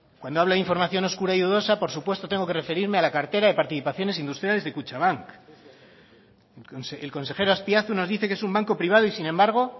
cuando habla de información oscura y dudosa por supuesto tengo que referirme a la cartera de participaciones industriales de kutxabank el consejero azpiazu nos dice que es un banco privado y sin embargo